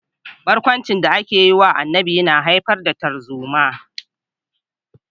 Barkwancin da ake yi wa Annabi yana haifar da tarzoma